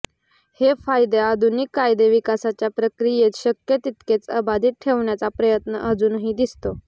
हे फायदे आधुनिक कायदेविकासाच्या प्रक्रियेत शक्य तितके अबाधित ठेवण्याचा प्रयत्न अजूनही दिसतो